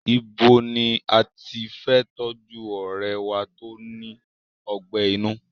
Ibo ní a tí fe tọ́jú ọ̀rẹ́e wá tó ní ọgbẹ́ inú?